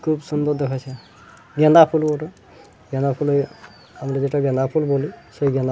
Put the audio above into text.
খুব সুন্দর দেখাচ্ছে গাঁদা ফুল আমরা জেটা গাঁদা ফুল বলি